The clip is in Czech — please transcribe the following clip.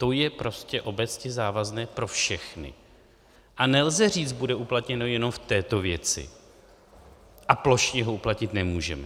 To je prostě obecně závazné pro všechny a nelze říct: bude uplatněno jenom v této věci a plošně ho uplatnit nemůžeme.